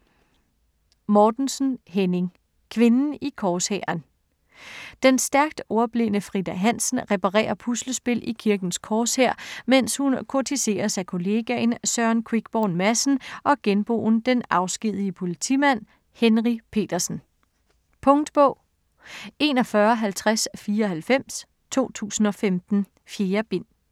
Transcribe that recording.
Mortensen, Henning: Kvinden i korshæren Den stærkt ordblinde Frida Hansen reparerer puslespil i Kirkens Korshær mens hun kurtiseres af kollegaen Søren Quickborn Madsen og genboen, den afskedigede politimand, Henry Petersen. Punktbog 415094 2015. 4 bind.